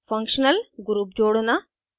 * functional groups जोड़ना